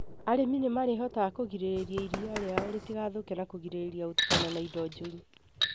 Arĩmi nĩmarĩhotaga kũgirĩrĩria iria rĩao rĩtigathũke na kũgirĩrĩria gũtukana na indo njũru